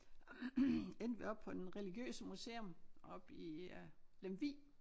Endte vi oppe på den religiøse museum oppe i øh Lemvig